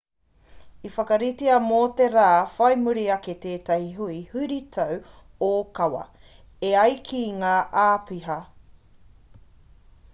i whakaritea mō te rā whai muri ake tētahi hui huritau ōkawa e ai ki ngā āpiha